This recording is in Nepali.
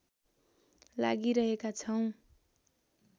लागिरहेका छौं